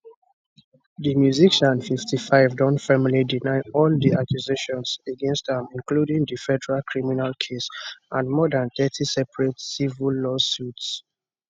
di musician 55 don firmly deny all di accusations against am including di federal criminal case and more dan thirty separate civil lawsuits